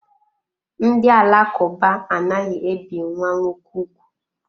Ndị Alakụba anaghị ebi nwa nwoke ugwu.